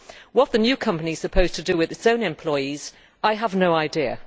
What the new company is supposed to do with its own employees, I have no idea.